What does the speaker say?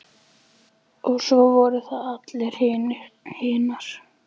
Og svo voru það allar hinar.